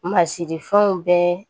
Masirifɛnw bɛɛ